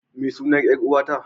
Ma sunan 'yar uwa ta?